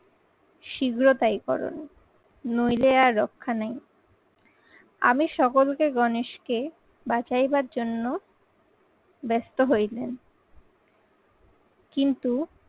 শীঘ্র তাই করুন। নইলে আর রক্ষা নেই। আমি সকলকে গণেশকে বাছাইবার জন্য ব্যস্ত হই কিন্তু